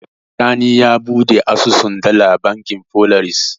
Sani ya buɗe asusun dala a bankin Folaris.